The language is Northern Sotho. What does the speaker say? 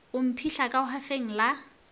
go mphihla ka hwafeng la